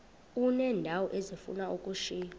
uneendawo ezifuna ukushiywa